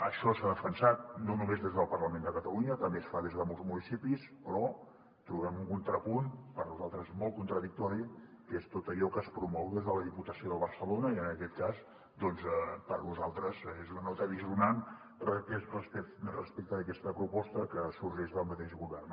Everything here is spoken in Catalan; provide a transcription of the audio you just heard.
això s’ha defensat no només des del parlament de catalunya també es fa des de molts municipis però trobem un contrapunt per nosaltres molt contradictori que és tot allò que es promou des de la diputació de barcelona i en aquest cas doncs per nosaltres és una nota dissonant respecte d’aquesta proposta que sorgeix del mateix govern